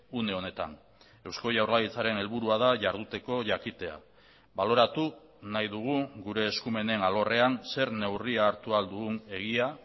une honetan eusko jaurlaritzaren helburua da jarduteko jakitea baloratu nahi dugu gure eskumenen alorrean zer neurria hartu ahal dugun egia